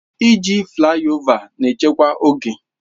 Iji flaịovers na echekwa oge.